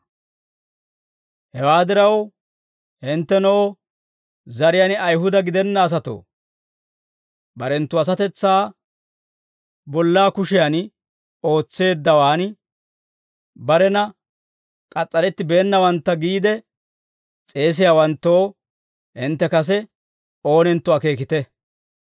Hewaa diraw, hinttenoo zariyaan Ayihuda gidenna asatoo, barenttu asatetsaa bolla kushiyan oosetteeddawan, barena k'as's'aretteeddawantta giyaa Ayihudatuu, k'as's'arettibeennawantta giide s'eesiyaawanttoo, hintte kase oonentto akeekite.